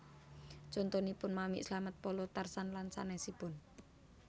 Contonipun Mamik Slamet Polo Tarzan lan sanesipun